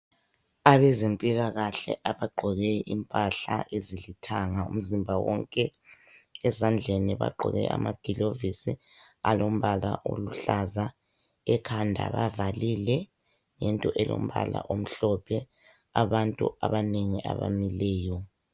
abezempilakahle abagqoke impahla ezilithanga umzimba wonke ezandleni bagqoke amagilovisi alombala oluhlaza ekhanda bavalile ngento elompala omhlophe abantu abanengi abamileyo